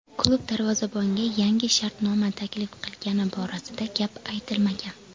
Klub darvozabonga yangi shartnoma taklif qilgani borasida gap aytilmagan.